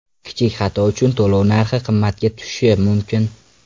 Kichik xato uchun to‘lov narxi qimmatga tushishi mumkin.